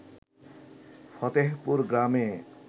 ফতেহপুর গ্রামে